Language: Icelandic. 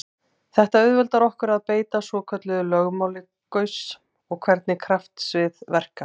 Þetta auðveldar okkur að beita svokölluðu lögmáli Gauss um hvernig kraftsvið verka.